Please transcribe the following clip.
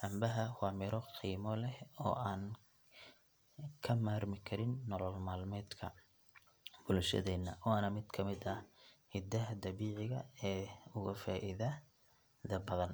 Cambaha waa miro qiimo leh oo aan ka maarmi karin nolol maalmeedka bulshadeenna waana mid ka mid ah hadiyadaha dabiiciga ah ee ugu faa’iidada badan.